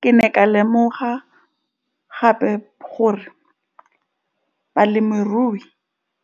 Ke ne ka lemoga gape gore balemirui